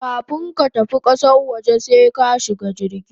Kafun ka tafi kasan waje sai ka shiga jirgi